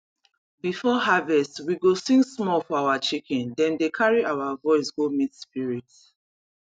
before harvest we go sing small for our chicken dem dey carry our voice go meet spirit